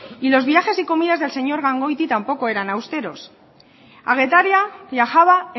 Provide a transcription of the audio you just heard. y los viajes y comidas del señor gangoiti tampoco eran austeros a getaria viajaba